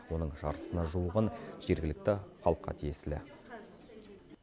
оның жартысына жуығын жергілікті халыққа тиесілі